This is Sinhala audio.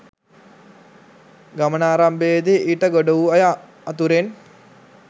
ගමනාරම්භයේදී ඊට ගොඩ වූ අය අතුරෙන්